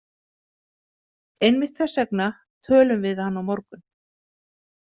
Einmitt þess vegna tölum við hann á morgun.